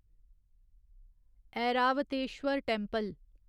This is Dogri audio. ऐरावतेश्वर टैंपल